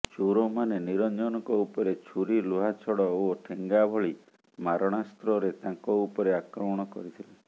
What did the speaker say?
ଚୋରମାନେ ନିରଞ୍ଜନଙ୍କ ଉପରେ ଛୁରୀ ଲୁହାଛଡ ଓ ଠେଙ୍ଗା ଭଳି ମାରଣାସ୍ତ୍ରରେ ତାଙ୍କ ଉପରେ ଆକ୍ରମଣ କରିଥିଲେ